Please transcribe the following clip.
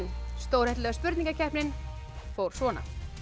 stórhættulega spurningakeppnin fór svona